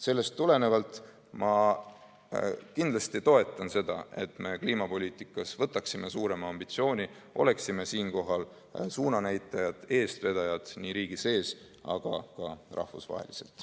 Sellest tulenevalt ma kindlasti toetan seda, et me kliimapoliitikas seaksime suurema ambitsiooni, oleksime suunanäitajad, eestvedajad nii riigi sees kui ka rahvusvaheliselt.